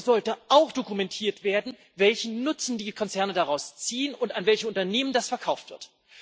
Und es sollte auch dokumentiert werden, welchen Nutzen die Konzerne daraus ziehen und an welche Unternehmen das verkauft wird.